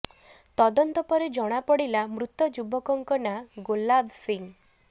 ତଦନ୍ତ ପରେ ଜଣାପଡ଼ିଲା ମୃତ ଯୁବକଙ୍କ ନାଁ ଗୋଲାବ ସିଂହ